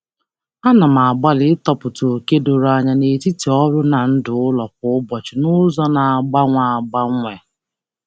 Ana m agbalị ịtọpụta oke doro anya n'etiti ọrụ na ndụ ụlọ kwa ụbọchị n'ụzọ na-agbanwe agbanwe.